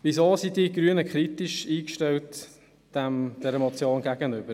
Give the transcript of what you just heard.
Weshalb sind die Grünen dieser Motion gegenüber kritisch eingestellt?